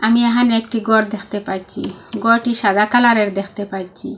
আমি এহানে একটি ঘর দেখতে পাইছি ঘরটি সাদা কালারের দেখতে পাইছি।